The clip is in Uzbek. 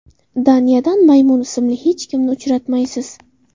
Daniyadan Maymun ismli hech kimni uchratmaysiz.